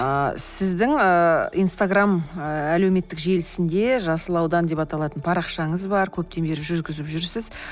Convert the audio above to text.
ыыы сіздің ыыы инстаграм ы әлеуметтік желісінде жасыл аудан деп аталатын парақшаңыз бар көптен бері жүргізіп жүрсіз